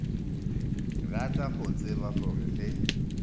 rata go tseba gore ge